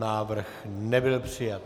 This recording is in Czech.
Návrh nebyl přijat.